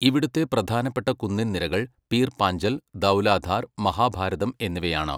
ഇവിടുത്തെ പ്രധാനപ്പെട്ട കുന്നിൻനിരകൾ പീർ പാഞ്ചൽ, ദൗലാധാർ, മഹാഭാരതം എന്നിവയാണ്.